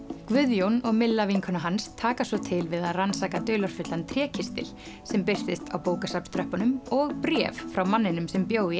Guðjón og vinkona hans taka svo til við að rannsaka dularfullan trékistil sem birtist á og bréf frá manninum sem bjó í